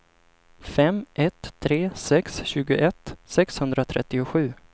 fem ett tre sex tjugoett sexhundratrettiosju